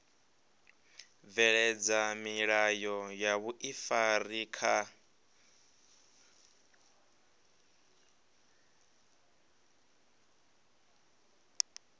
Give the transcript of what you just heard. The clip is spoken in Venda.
bveledza milayo ya vhuifari kha